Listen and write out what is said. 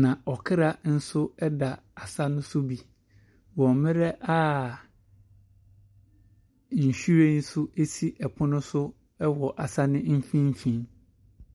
na ɔkra nso da asa no so bi wɔ mmerɛ a nhwiren nso si ɔpon so wɔ asa no mfimfin.